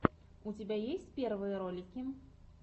у тебя есть первые ролики